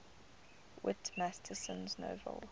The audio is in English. whit masterson's novel